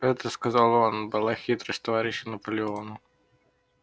это сказал он была хитрость товарища наполеона